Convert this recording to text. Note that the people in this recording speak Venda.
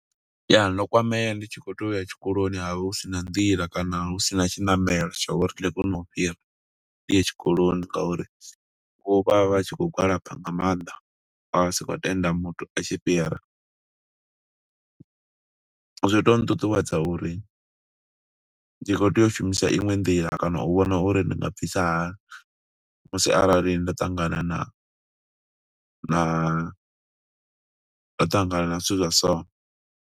Ya, ndo kwamea ndi tshi khou to uya tshikoloni, ha vha hu sina nḓila kana hu sina tshiṋamelo, zwa uri ndi kone u fhira. Ndi ye tshikoloni nga uri vho vha vha tshi khou gwalaba nga maanḓa, vha si khou tenda muthu a tshi fhira. Zwi to nṱuṱuwedza uri, ndi khou tea u shumisa iṅwe nḓila, kana u vhona uri ndi nga bvisa hani musi arali nda ṱangana na na nda ṱangana na zwithu zwa so.